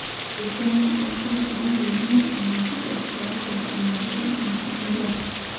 esiana oonkerra naayieuni netum enkitok tiatua ina rishata natumie inkerra